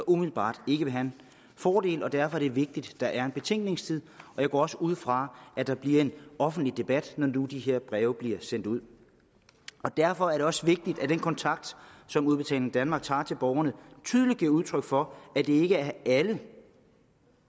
umiddelbart vil have en fordel og derfor er det vigtigt at der er en betænkningstid jeg går også ud fra at der bliver en offentlig debat når nu de her breve bliver sendt ud derfor er det også vigtigt at man i den kontakt som udbetaling danmark tager til borgerne tydeligt giver udtryk for at det ikke er alle